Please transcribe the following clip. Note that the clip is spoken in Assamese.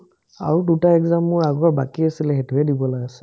আৰু দুটা exam মোৰ আগৰ বাকী আছিলে সেটোয়ে দিবলে আছে ।